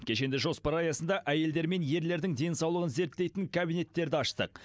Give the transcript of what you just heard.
кешенді жоспар аясында әйелдер мен ерлердің денсаулығын зерттейтін кабинеттерді аштық